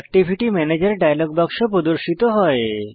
activity ম্যানেজের dialog বাক্স প্রদর্শিত হয়